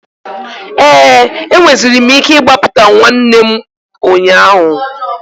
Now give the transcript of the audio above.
Ee, enweziri m ike ịgbapụtawu nwanne m ụnyaahụ.